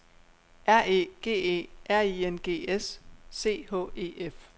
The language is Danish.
R E G E R I N G S C H E F